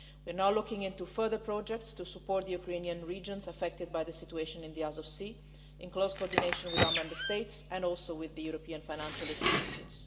We are now looking into further projects to support Ukrainian regions affected by the situation in the Azov Sea, in close coordination with our Member States, and also with the European financial institutions.